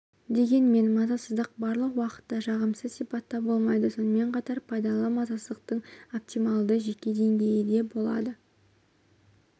дегенмен мазасыздық барлық уақытта жағымсыз сипатта болмайды сонымен қатар пайдалы мазасыздықтың оптималды жеке деңгейі де болады